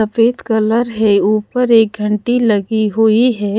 सफेद कलर है ऊपर एक घंटी लगी हुई हैं।